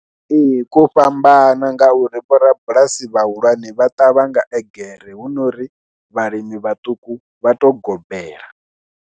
Ee ko fhambana ngauri vhorabulasi vhahulwane vha ṱavha nga egere hu no uri vhalimi vhaṱuku vha tou gobela.